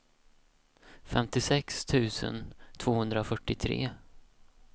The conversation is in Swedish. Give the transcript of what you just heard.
femtiosex tusen tvåhundrafyrtiotre